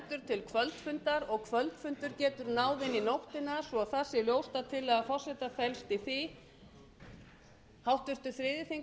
til kvöldfundar og kvöldfundur getur náð inn í nóttina svo það sé ljóst að tillaga forseta felst í því